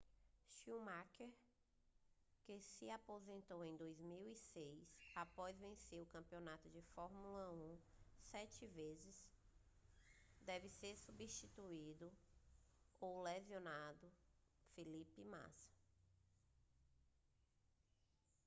schumacher que se aposentou em 2006 após vencer o campeonato de fórmula 1 sete vezes deve substituir o lesionado felipe massa